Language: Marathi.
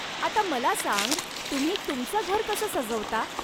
आता मला सांग तुम्ही तुमचं घर कसं सजवता?